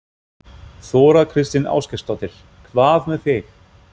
Þóra Kristín Ásgeirsdóttir: Hvað með þig?